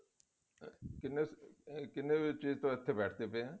ਕਿੰਨੇ ਅਮ ਕਿੰਨੇ ਤੋਂ ਇੱਥੇ ਬੈਠਦੇ ਪਏ ਹਾਂ